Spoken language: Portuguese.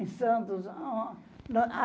Em Santos.